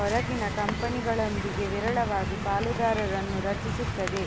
ಹೊರಗಿನ ಕಂಪನಿಗಳೊಂದಿಗೆ ವಿರಳವಾಗಿ ಪಾಲುದಾರರನ್ನು ರಚಿಸುತ್ತದೆ